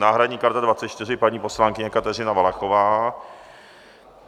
Náhradní karta 24 - paní poslankyně Kateřina Valachová.